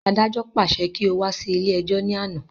Adájọ́ pàṣẹ kí o wá sí ilé ẹjọ́ ní àná